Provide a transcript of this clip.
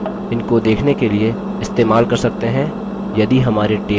इनको देखने के लिए इस्तेमाल कर सकते हैं यदि हमारे tables